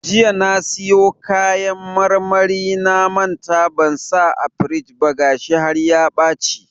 Jiya na siyo kayan marmarin na manta ban sa a firij ba gashi har ya ɓaci.